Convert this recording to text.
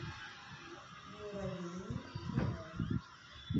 муравейник кино